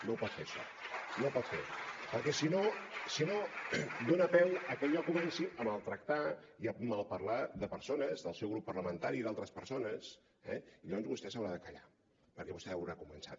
no ho pot fer això no ho pot fer perquè si no dona peu a que jo comenci a maltractar i a malparlar de persones del seu grup parlamentari i d’altres persones eh i llavors vostè haurà de callar perquè vostè haurà començat